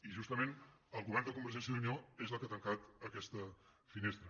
i justament el govern de conver·gència i unió és el que ha tancat aquesta finestra